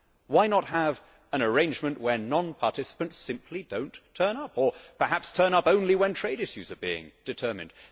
Why not have an arrangement where non participants simply do not turn up, or perhaps turn up only when trade issues are being determined.